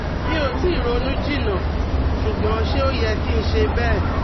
mi o tii ronu jinna, sugbon se o ye ki n se bee?